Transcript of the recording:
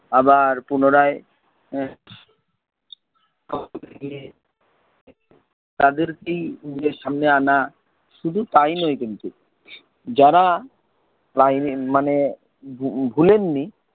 আবার পুনরায় এর তাদেরকেই ইয়ের সামনে আনা। শুধু তাই নয় কিন্তু যারা ভুলেন নি,